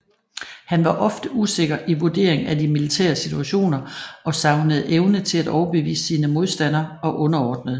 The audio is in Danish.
Han var ofte usikker i vurdering af de militære situationer og savnede evne til at overbevise sine modstandere og underordnede